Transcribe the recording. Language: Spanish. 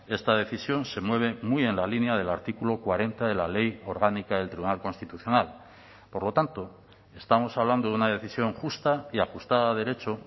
esta decisión se mueve muy en la línea del artículo cuarenta de la ley orgánica del tribunal constitucional por lo tanto estamos hablando de una decisión justa y ajustada a derecho